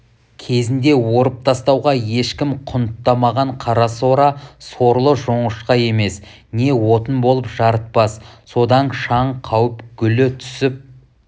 кезінде орып тастауға ешкім құнттамаған қарасора сорлы жоңышқа емес не отын болып жарытпас содан шаң қауып гүлі түсіп